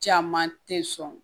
Caman tɛ sɔn